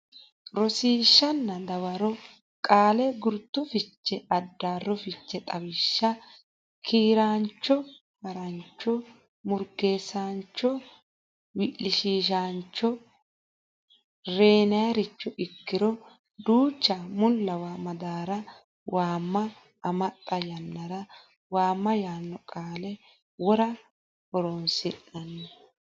Rosiishshanna Dawaro Qaale Gurcho fiche Addaarro fiche Xawishsha kiiraancho Haa raancho murgeessaancho wi lishiishaancho reynoricho ikkiro duucha mullawa madaara waama maaxa yannara waama yaanno qaale wora horosi nanni.